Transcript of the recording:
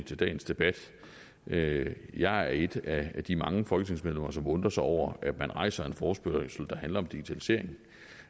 dagens debat jeg jeg er et af de mange folketingsmedlemmer som undrer sig over at man rejser en forespørgsel der handler om digitaliseringen